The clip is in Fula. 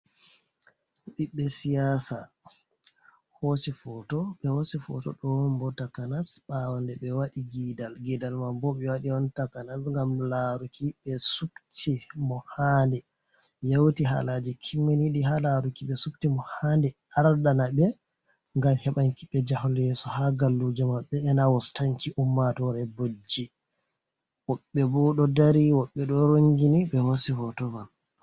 Biɓbe siyasa be hosi foto, dembo takanas bawo nde ɓe wadi gidal, gidal man boɓe wadi on takanas gam laruki be subti mo handi yauti halaji kiminidi, ha laruki be subti mo handi ardana ɓe gam hebanki be jahol yeso ha gallujo maɓbe, enawostanki ummatore bojji woɓɓe bo do dari woɓɓe do rongini be hosi foto mam.